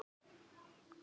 Einsog hatrið.